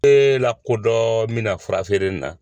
lakodɔn n bɛna fura feere in na.